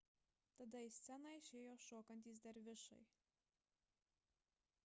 tada į sceną išėjo šokantys dervišai